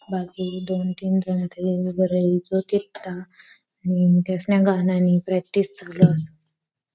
बाकी दोन तीन वेळ बरं येईल गाणा नी प्रेक्टिस चालू अस.